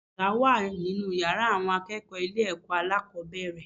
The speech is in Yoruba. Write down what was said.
Àga wà nínú yàrá àwọn akẹ́kọ̀ọ́ ilé ẹ̀kọ́ alákòbẹ̀rẹ̀.